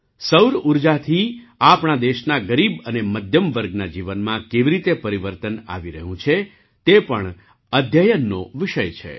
સૌર ઊર્જાથી આપણા દેશના ગરીબ અને મધ્યમ વર્ગના જીવનમાં કેવી રીતે પરિવર્તન આવી રહ્યું છે તે પણ અધ્યયન નો વિષય છે